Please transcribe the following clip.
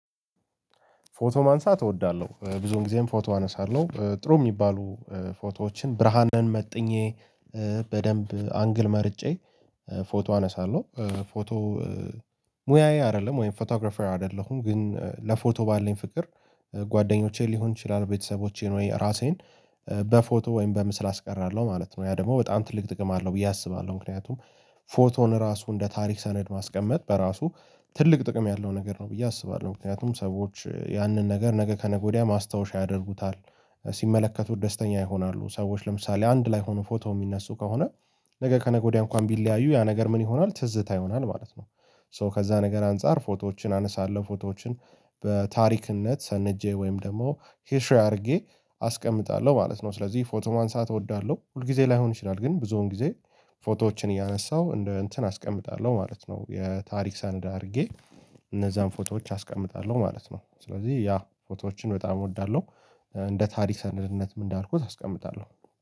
ፎቶ ማንሳት እወዳለሁ ብዙንጊዜም ፎቶ አነሳለሁ ጥሩ የሚባሉ ፎቶዎችን ብርሃንን መጥኜ በደንብ አንግል መርጬ ፎቶ አነሳለሁ። ፎቶ ሙያዬ አይደለም ወይም ፎቶግራፈር አይደለሁም ግን ለፎቶ ባለኝ ፍቅር። ጓደኞቼ ሊሆን ይችላል ቤተሰቦቼን ወይ ራሴን በፎቶ ወይም በምስል አስቀራለሁ ማለት ነው ያ ደግሞ በጣም ትልቅ ጥቅም አለው ብዬ አስባለሁ። ምክንያቱም ፎቶን ራሱ እንደ ታሪክ ሰነድ ማስቀመጥ በራሱ ትልቅ ጥቅም ያለው ነገር ነው ብዬ አስባለሁ። ምክንያቱም ሰዎች ያንን ነገር ነገ ከነገ ወዲያ ማስታወሻ ያደርጉታል ሲመለከቱት ደስተኛ ይሆናሉ። ሰዎች ለምሳሌ አንድ ላይ ሆኖ ፎቶ የሚነሱ ከሆነ ነገ ከነገ ወዲያ እንኳን ቢለያዩ ያ ነገር ምን ይሆናል ትዝታ ይሆናል ማለት ነው። ሶ ከዛ ነገር አንፃር ፎቶዎችን አነሳለሁ ፎቶዎችን በታሪክነት ሰንጄ ወይም ደግሞ ሂሾው አድርጌ አስቀምጣለሁ ማለት ነው። ስለዚህ ፎቶ ማንሳት እወዳለሁ ሁል ጊዜ ላይሆን ይችላል ግን ብዙውን ጊዜ ፎቶዎችን እያነሳሁ እንደ እንትን አስቀምጣለሁ ማለት ነው። የታሪክ ሰነድ አድርጌ እነዛን ፎቶዎች አስቀምጣለሁ ማለት ነው። ስለዚህ ያ ፎቶዎችን በጣም እወዳለሁ እንደ ታሪክ ሰነድነትም እንዳልኩት አስቀምጣለሁ።